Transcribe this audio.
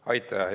Aitäh!